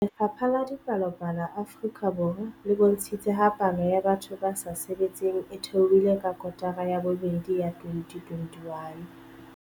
Lefapha la Dipalopalo Afrika Borwa le bontshitse ha palo ya batho ba sa sebetseng e theohile ka kotara ya bobedi ya 2021.